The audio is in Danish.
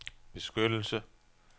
beskyttelse